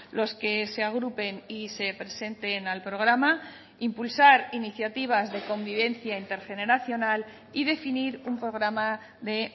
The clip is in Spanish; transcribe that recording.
los que se agrupen y se presenten al programa impulsar iniciativas de convivencia intergeneracional y definir un programa de